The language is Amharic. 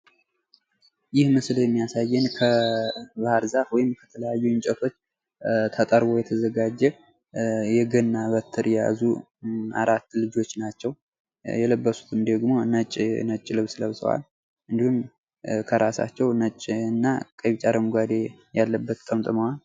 ይህ ምስል የሚያሳየን ከባህርዛፍ ወይም ከተለያዩ እንጨቶች ተጠርቦ የተዘጋጀ የገና በትር የያዙ አራት ልጆች ናቸው የለበሱትም ደግሞ ነጭ ልብስ ለብሰዋል እንዲሁም ከራሳችው ነጭ እና ቀይ ቢጫ አረንጓዴ ያለበት ጠምጥመዋል ።